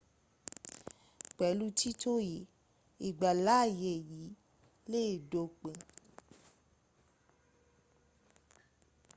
pẹ̀lú títò yìí ìgbàláyè yìí lé dópin